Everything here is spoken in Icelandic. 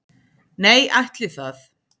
Nei, ætli það.